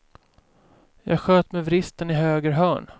Jag sköt med vristen i höger hörn.